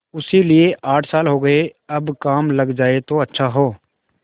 उसे लिये आठ साल हो गये अब काम लग जाए तो अच्छा हो